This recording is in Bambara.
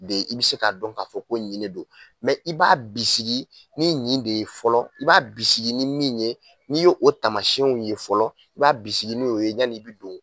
I bɛ se k'a dɔn k'a fɔ ko nin de don i b'a bisigi ni nin de ye fɔlɔ i b'a bisigi ni min ye n'i ye o taamasiyɛnw ye fɔlɔ i b'a bisigi n'o ye yanni i bɛ don